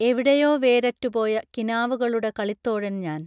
എവിടെയോ വേരറ്റുപോയ കിനാവുകളുടെ കളിത്തോഴൻ ഞാൻ